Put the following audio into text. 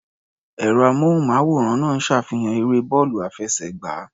Ẹ̀rọ-amóhùnmáwòrán náà ń ṣàfihàn eré bọ́ọ̀lù àfẹsẹ̀gbá.